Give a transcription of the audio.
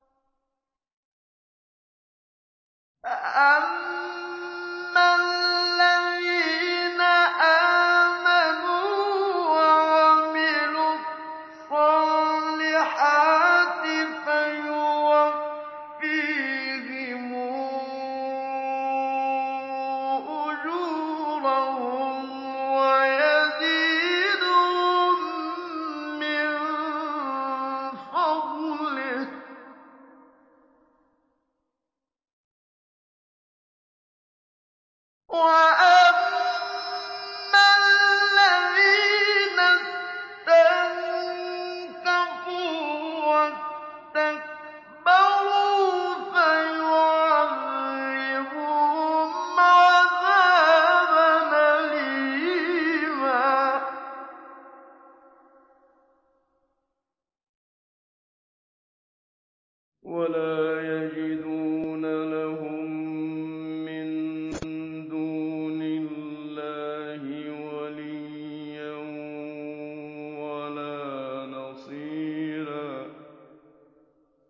فَأَمَّا الَّذِينَ آمَنُوا وَعَمِلُوا الصَّالِحَاتِ فَيُوَفِّيهِمْ أُجُورَهُمْ وَيَزِيدُهُم مِّن فَضْلِهِ ۖ وَأَمَّا الَّذِينَ اسْتَنكَفُوا وَاسْتَكْبَرُوا فَيُعَذِّبُهُمْ عَذَابًا أَلِيمًا وَلَا يَجِدُونَ لَهُم مِّن دُونِ اللَّهِ وَلِيًّا وَلَا نَصِيرًا